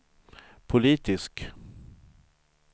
politisk